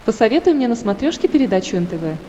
посоветуй мне на смотрешке передачу нтв